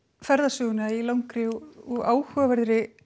ferðasöguna í langri og áhugaverðri